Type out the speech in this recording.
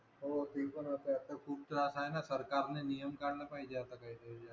हो ती पण अस वाट खूप त्रास आहे न सरकार न नियम काढला पाहिजे आता काहीतरी या